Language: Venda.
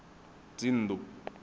dzinnḓu